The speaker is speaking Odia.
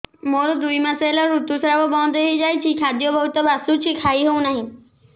ମୋର ଦୁଇ ମାସ ହେଲା ଋତୁ ସ୍ରାବ ବନ୍ଦ ହେଇଯାଇଛି ଖାଦ୍ୟ ବହୁତ ବାସୁଛି ଖାଇ ହଉ ନାହିଁ